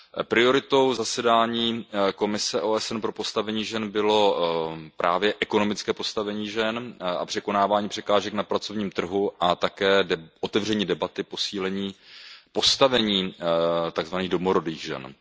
Prioritou zasedání Komise OSN pro postavení žen bylo právě ekonomické postavení žen a překonávání překážek na pracovním trhu a také otevření debaty o posílení postavení takzvaných domorodých žen.